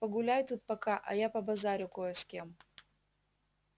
погуляй тут пока а я побазарю кое с кем